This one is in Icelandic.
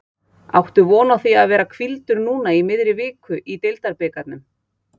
Áttu von á því að vera hvíldur núna í miðri viku í deildabikarnum?